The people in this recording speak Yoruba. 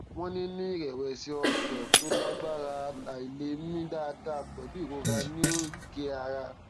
wọn ní ní ìrẹwẹsì ọkàn tó lágbára àìlè mí dáadáa pẹlú ìrora ní oríkèé ara